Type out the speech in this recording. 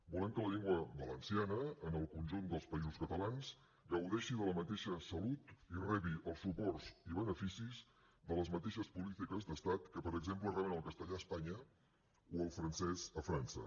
volem que la llengua valenciana en el conjunt dels països catalans gaudeixi de la mateixa salut i rebi els suports i beneficis de les mateixes polítiques d’estat que per exemple reben el castellà a espanya o el francès a frança